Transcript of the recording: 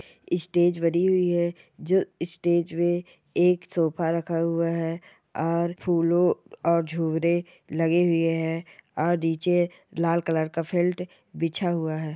इ स्टेज बनी हुई है जो स्टेज में एक सोफ़ा रखा हुआ है और फूलो और झूले लगे हुए हैं और नीचे लाल कलर का फिल्ट बिछा हुआ है।